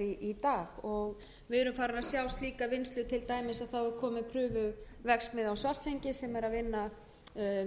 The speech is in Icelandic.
í dag og við erum farin að sjá slíka vinnslu til dæmis þá er komin prufuverksmiðja á svartsengi sem er að vinna